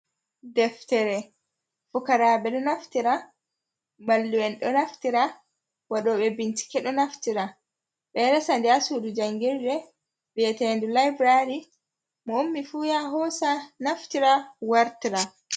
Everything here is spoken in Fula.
Deftere fukaraaɓe ɗo naftira, mallum'en ɗo naftira, waɗoɓe bincike ɗo naftira. Ɓe ɗo resa nde a suudu janngirde wi'ete labulaari ,mo ummi fu yaha hoosa naftira wartira.